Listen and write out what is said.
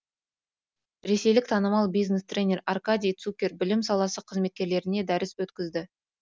ресейлік танымал бизнес тренер аркадий цукер білім саласы қызметкерлеріне дәріс өткізді